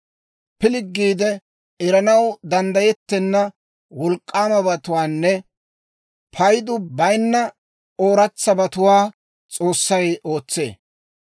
Pilggiide eranaw danddayettenna wolk'k'aamabatuwaanne paydu bayinna ooratsabatuwaa S'oossay ootsee.